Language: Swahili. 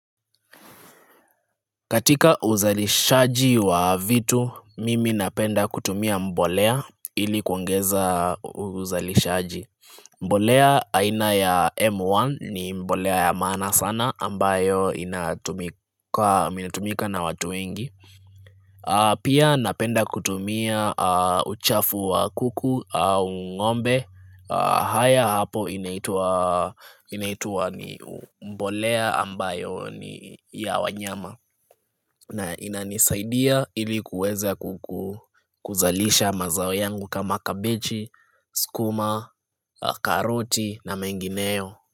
Katika uzalishaji wa vitu mimi napenda kutumia mbolea ilikuongeza uzalishaji mbolea aina ya M1 ni mbolea ya maana sana ambayo inatumika na watu wengi Pia napenda kutumia uchafu wa kuku au ngombe haya hapo inaitua ni mbolea ambayo ni ya wanyama na inanisaidia ilikuweze kuzalisha mazao yangu kama kabichi, skuma, karoti na mengineyo.